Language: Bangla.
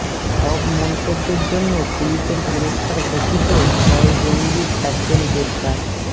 সব মন্তব্যের জন্য পুলিশের পুরস্কার ঘোষিত ছয় জঙ্গির একজন গ্রেপ্তার